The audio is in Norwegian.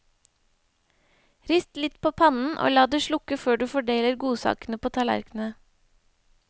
Rist litt på pannen og la det slukke før du fordeler godsakene på tallerknene.